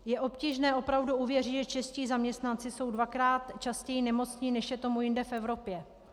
Je obtížné opravdu uvěřit, že čeští zaměstnanci jsou dvakrát častěji nemocní, než je tomu jinde v Evropě.